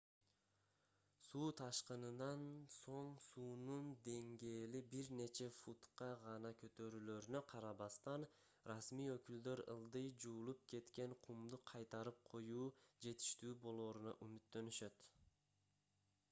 суу ташкынынан соң суунун деңгээли бир нече футка гана көтөрүлөрүнө карабастан расмий өкүлдөр ылдый жуулуп кеткен кумду кайтарып коюу жетиштүү болооруна үмүттөнүшөт